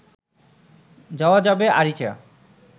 যাওয়া যাবে আরিচা